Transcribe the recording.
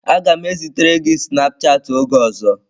Aga m ezitere gị snapụ chatị oge ọzọ